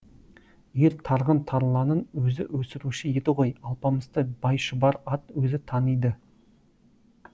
ер тарғын тарланын өзі өсіруші еді ғой алпамысты байшұбар ат өзі таниды